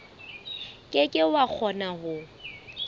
ke ke wa kgona ho